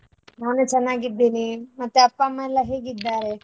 ನಾನು ಚೆನ್ನಾಗಿದ್ದೇನೆ ಮತ್ತೆ ಅಪ್ಪ ಅಮ್ಮಯೆಲ್ಲಾ ಹೇಗಿದ್ದಾರೆ?